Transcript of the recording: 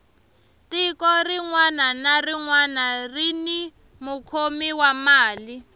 tiko rinwani na rinwani rini mukhomi wa mali